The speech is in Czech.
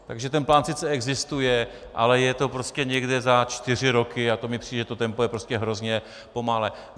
Takže ten plán sice existuje, ale je to prostě někde za čtyři roky a to mi přijde, že to tempo je prostě hrozně pomalé.